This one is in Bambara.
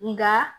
Nka